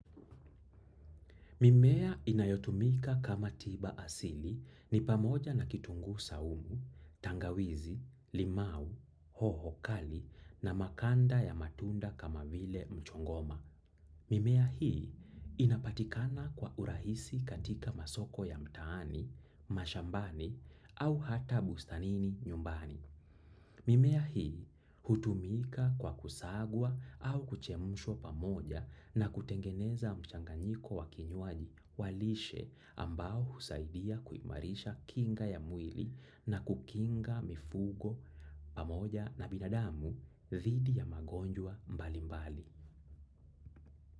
Mimea inayotumika kama tiba asili ni pamoja na kitunguu saumu, tangawizi, limau, hoho kali na makanda ya matunda kama vile mchongoma. Mimea hii inapatikana kwa urahisi katika masoko ya mtaani, mashambani au hata bustanini nyumbani. Mimea hii hutumika kwa kusagwa au kuchemshwa pamoja na kutengeneza mchanganyiko wa kinywaji wa lishe ambao husaidia kuimarisha kinga ya mwili na kukinga mifugo pamoja na binadamu thidi ya magonjwa mbali mbali.